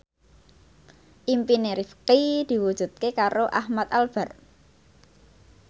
impine Rifqi diwujudke karo Ahmad Albar